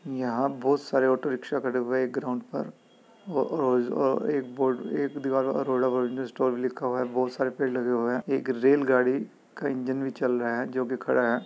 यहाँ बहुत सारे ऑटो रिक्शा खड़े हुए हैं। एक ग्राउंड पर औओओअ एक ब एक दीवार पर अरोड़ा प्रोविजन स्टोर भी लिखा हुआ है। बहुत सारे पेड़ भी लगे हुए हैं। एक रेलगाड़ी का इंजन भी चल रहा है जो की खड़ा है।